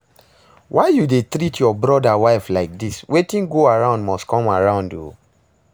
Why you dey treat your brother wife like dis? Wetin go around must come around oo